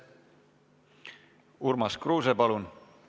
Urmas Kruuse, palun!